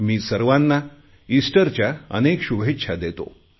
मी सर्वांना इस्टरच्या अनेक अनेक शुभेच्छा देतो